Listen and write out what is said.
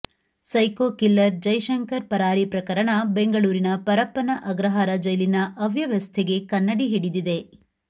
psycho killer Jaishankar ಪರಾರಿ ಪ್ರಕರಣ ಬೆಂಗಳೂರಿನ ಪರಪ್ಪನ ಅಗ್ರಹಾರ ಜೈಲಿನ ಅವ್ಯವಸ್ಥೆಗೆ ಕನ್ನಡಿ ಹಿಡಿದಿದೆ